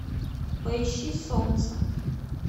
поищи солнце